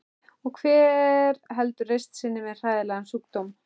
Og hver heldur reisn sinni með hræðilegan sjúkdóm?